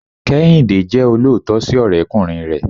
kehinde jẹ oloootọ si ọrẹkunrin rẹ